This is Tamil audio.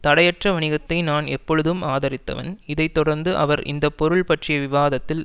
தடையற்ற வணிகத்தை நான் எப்பொழுதும் ஆதரித்தவன் இதை தொடர்ந்து அவர் இந்த பொருள் பற்றிய விவாதத்தில்